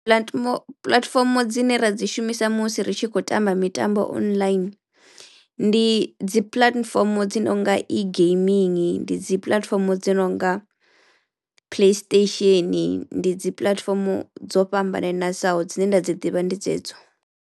Puḽatimo puḽatifomo dzine ra dzi shumisa musi ri tshi khou tamba mitambo online ndi dzi puḽatifomo dzo nonga E-gaiming, ndi dzi puḽatifomo dzo nonga Playstation, ndi dzi puḽatifomo dzo fhambananesaho. Dzine nda dzi ḓivha ndi dzedzo.